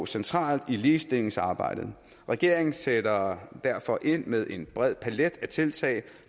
centralt i ligestillingsarbejdet regeringen sætter derfor ind med en bred palet af tiltag